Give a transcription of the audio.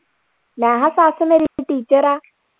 ਮੈਂ ਕਿਹਾ ਸੱਸ ਮੇਰੀ teacher ਆ।